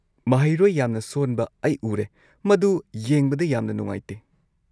ꯃꯍꯩꯔꯣꯢ ꯌꯥꯝꯅ ꯁꯣꯟꯕ ꯑꯩ ꯎꯔꯦ, ꯃꯗꯨ ꯌꯦꯡꯕꯗ ꯌꯥꯝꯅ ꯅꯨꯡꯉꯥꯏꯇꯦ꯫